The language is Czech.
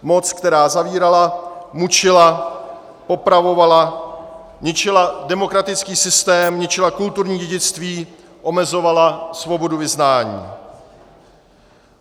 Moc, která zavírala, mučila, popravovala, ničila demokratický systém, ničila kulturní dědictví, omezovala svobodu vyznání.